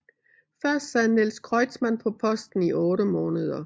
Først sad Niels Kreutzmann på posten i otte måneder